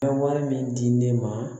Ka wari min di ne ma